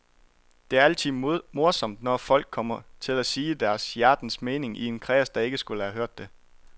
Det er altid morsomt, når folk kommer til at sige deres hjertens mening i en kreds, der ikke skulle have hørt det.